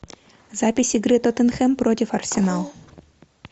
запись игры тоттенхэм против арсенал